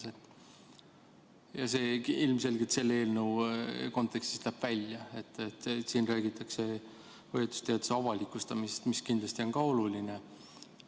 See läheb ilmselgelt selle eelnõu kontekstist välja, sest siin räägitakse hoiatusteate avalikustamisest, mis kindlasti samuti on oluline.